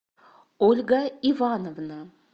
ольга ивановна